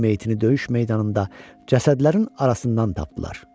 Onun meyitini döyüş meydanında cəsədlərin arasından tapdılar.